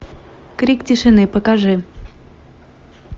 крик тишины покажи